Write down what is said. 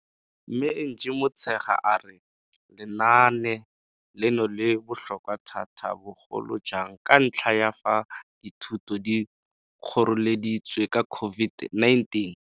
Mme Angie Motshekga a re lenaane leno le botlhokwa thata bogolojang ka ntlha ya fa dithuto di kgoreleditswe ke COVID-19.